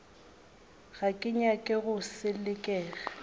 ga ke nyake go selekega